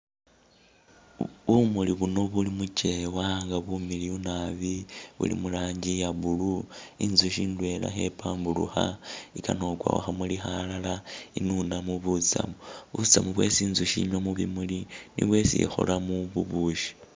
Bumuli buuno buli muchewa nga bumiliyu naabi, buli mu'ranjii iya blue, intsukhi indwela khepamburukha ikana khukwa khukhamuli khalala inunemo butsamu, butsamu bwesi intsukhi inywa mubimuli nibwo isi ikholamo bubushi